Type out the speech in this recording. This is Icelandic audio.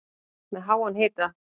Með háan hita